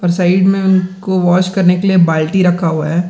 और साइड में उन को वाश करने के लिए बाल्टी रखा हुआ है।